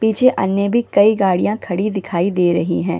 पीछे अन्य भी कई गाड़ियां खड़ी दिखाई दे रही है।